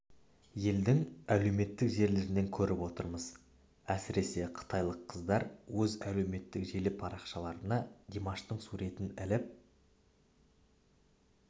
елдің әлеуметтік желілерінен көріп отырмыз әсіресе қытайлық қыздар өз әлеуметтік желі парақшаларына димаштың суретін іліп